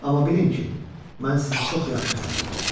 Amma bilin ki, mən sizi çox yaxşı tanıyıram.